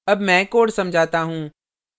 अब मैं code समझाता हूँ